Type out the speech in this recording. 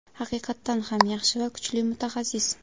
Haqiqatan ham yaxshi va kuchli mutaxassis.